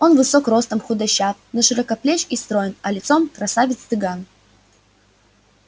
он высок ростом худощав но широкоплеч и строен а лицом красавец цыган